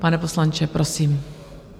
Pan poslanče, prosím.